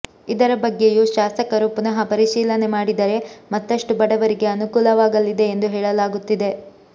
ಇದರ ಬಗ್ಗೆಯೂ ಶಾಸಕರು ಪುನಃ ಪರಿಶೀಲನೆ ಮಾಡಿದರೆ ಮತ್ತಷ್ಟು ಬಡವರಿಗೆ ಅನುಕೂಲವಾಗಲಿದೆ ಎಂದು ಹೇಳಲಾಗುತ್ತಿದೆ